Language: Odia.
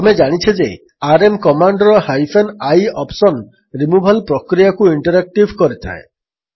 ଆମେ ଜାଣିଛେ ଯେ RM commander hyphen i option removal ପ୍ରକ୍ରିୟାକୁ ଇଣ୍ଟରାକ୍ଟିଭ୍ କରିଥାଏ